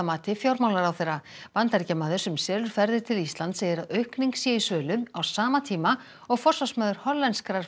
mati fjármálaráðherra Bandaríkjamaður sem selur ferðir til Íslands segir að aukning sé í sölu á sama tíma og forsvarsmaður